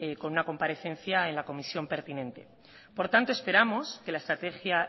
con una comparecencia en la comisión pertinente por tanto esperamos que la estrategia